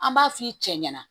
An b'a f'i cɛ ɲɛna